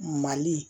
Mali